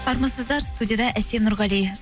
армысыздар студияда әсем нұрғали